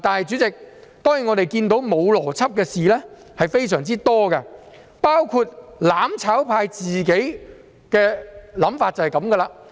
主席，當然，我們看到沒有邏輯的事情非常多，"攬炒派"的想法正是這樣。